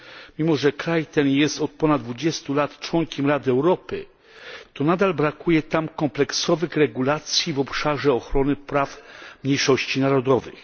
Mimo że kraj ten jest od ponad 20 lat członkiem Rady Europy, to nadal brakuje tam kompleksowych regulacji w obszarze ochrony praw mniejszości narodowych.